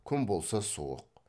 күн болса суық